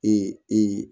Ee e